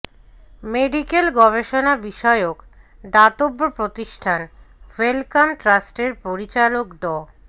medical গবেষণা বিষয়ক দাতব্য প্রতিষ্ঠান ওয়েলকাম ট্রাস্টের পরিচালক ড